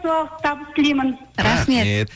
табыс тілеймін рахмет